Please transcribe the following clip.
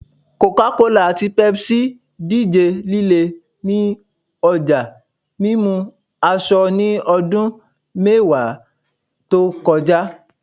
Coca-Cola ati Pepsi dije lile ni ọja mimu asọ ni ọdun mẹwa to kọja